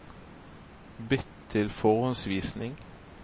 Bytt til forhåndsvisning